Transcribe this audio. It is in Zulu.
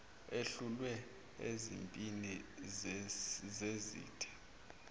ehlulwe ezimpini zezitha